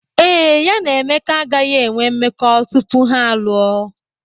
Ee, ya na Emeka agaghị enwe mmekọ tupu ha alụọ.